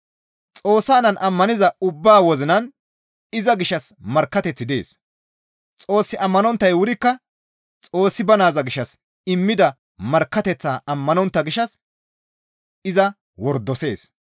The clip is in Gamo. Xoossa Naan ammaniza ubbaa wozinan iza gishshas markkateththi dees; Xoos ammanonttay wurikka Xoossi ba Naaza gishshas immida markkateththaa ammanontta gishshas iza wordosees.